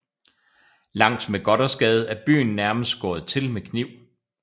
Langs med Gothersgade er byen nærmest skåret til med kniv